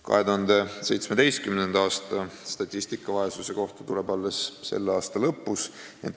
2017. aasta statistika vaesuse kohta tuleb alles selle aasta lõpus.